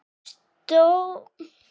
Stórlið, eru Þið að horfa?